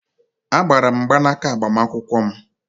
Agbaara m mgbanaaka agbamakwụkwọ m.